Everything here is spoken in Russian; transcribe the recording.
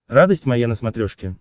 радость моя на смотрешке